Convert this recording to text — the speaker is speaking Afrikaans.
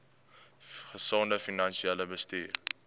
gesonde finansiële bestuur